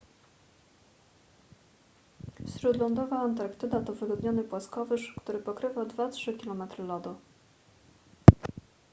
śródlądowa antarktyda to wyludniony płaskowyż który pokrywa 2-3 km lodu